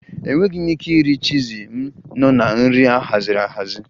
Enweghị m ike iri chizi, m nọ na nri ahaziri ahazi